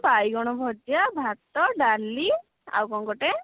ବାଇଗଣ ଭଜା ଭାତ ଡାଲି ଆଉ କଣ ଗୋଟେ